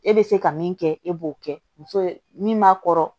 E bɛ se ka min kɛ e b'o kɛ muso ye min b'a kɔrɔ